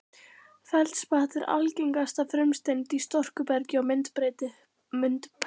Feldspat er algengasta frumsteind í storkubergi og myndbreyttu bergi.